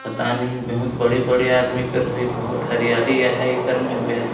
पता नई बहुत बड़े -बड़े आदमी कर होई बहुत हरियाली हई एकर में बे --